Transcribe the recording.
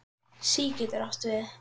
SÍ getur átt við